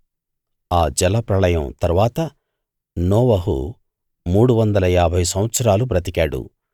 ఆ జలప్రళయం తరువాత నోవహు మూడు వందల ఏభై సంవత్సరాలు బ్రతికాడు